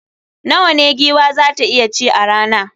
Nawa ne giwa za ta iya ci a rana?